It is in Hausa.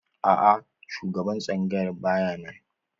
A'a shugaban tsangayar ba ya nan.